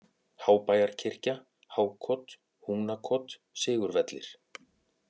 Hábæjarkirkja, Hákot, Húnakot, Sigurvellir